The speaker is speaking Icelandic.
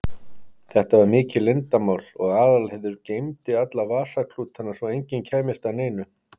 Þetta var mikið leyndarmál og Aðalheiður geymdi alla vasaklútana svo enginn kæmist að neinu.